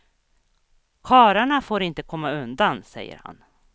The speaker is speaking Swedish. Karlarna får inte komma undan, säger han.